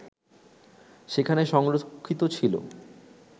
সেখানে সংরক্ষিত ছিল